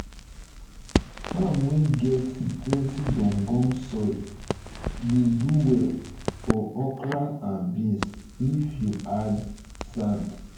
farm wey get plenty gum gum soil dey do well for okra and beans if you add sand.